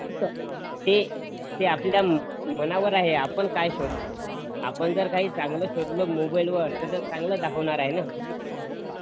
ते आपल्या मनावर आहे आपण काय शोधतों आपण जर काही चांगल शोधल मोबाइल वर तर ते चांगलच दाखवणार आहे ना?